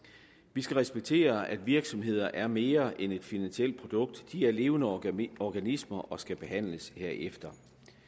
vi skal respektere at virksomheder er mere end et finansielt produkt de er levende organismer og skal behandles herefter